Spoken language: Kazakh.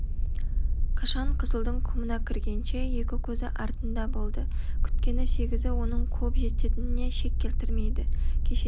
қашан қызылдың құмына кіргенше екі көзі артында болды күткені сегізі оның қуып жететініне шек келтірмейді кешеден